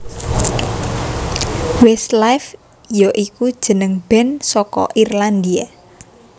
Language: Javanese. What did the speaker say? Westlife ya iku jeneng band saka Irlandia